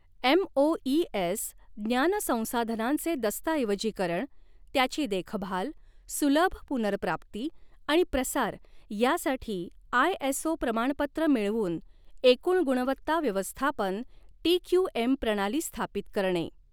MoES ज्ञान संसाधनांचे दस्तऐवजीकरण, त्याची देखभाल, सुलभ पुनर्प्राप्ती आणि प्रसार यासाठी आयएसओ प्रमाणपत्र मिळवून एकूण गुणवत्ता व्यवस्थापन टीक्यूएम प्रणाली स्थापित करणे.